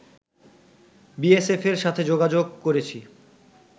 বিএসএফের সাথে যোগাযোগ করেছি